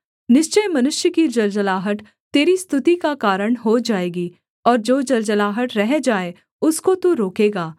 निश्चय मनुष्य की जलजलाहट तेरी स्तुति का कारण हो जाएगी और जो जलजलाहट रह जाए उसको तू रोकेगा